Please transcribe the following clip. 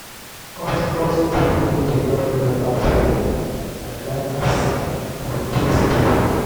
hot hot chocolate dey help me relax for evening i like as di taste be.